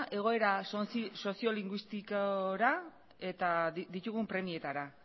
egoera soziolinguistikora eta ditugun premietara